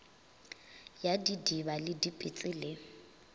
ya didiba le dipetse le